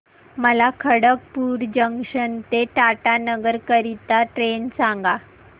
मला खडगपुर जंक्शन ते टाटानगर करीता ट्रेन सांगा